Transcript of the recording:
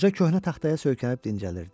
Qoca köhnə taxtaya söykənib dincəlirdi.